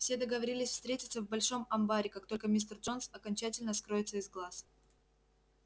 все договорились встретиться в большом амбаре как только мистер джонс окончательно скроется из глаз